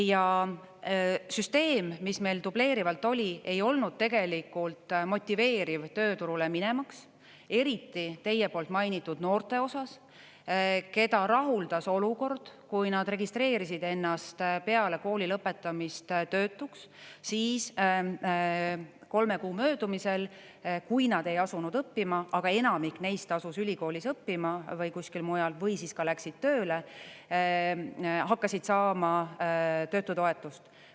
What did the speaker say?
Ja süsteem, mis meil dubleerivalt oli, ei olnud tegelikult motiveeriv tööturule minemaks, eriti teie poolt mainitud noorte osas, keda rahuldas olukord, kui nad registreerisid ennast peale kooli lõpetamist töötuks, siis kolme kuu möödumisel, kui nad ei asunud õppima, aga enamik neist asus ülikoolis õppima või kuskil mujal või siis läksid tööle, hakkasid saama töötutoetust.